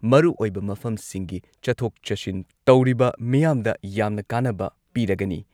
ꯃꯔꯨꯑꯣꯏꯕ ꯃꯐꯝꯁꯤꯡꯒꯤ ꯆꯠꯊꯣꯛ ꯆꯠꯁꯤꯟ ꯇꯧꯔꯤꯕ ꯃꯤꯌꯥꯝꯗ ꯌꯥꯝꯅ ꯀꯥꯟꯅꯕ ꯄꯤꯔꯒꯅꯤ꯫